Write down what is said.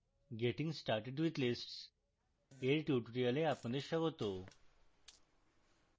getting started with lists এর tutorial আপনাদের স্বাগত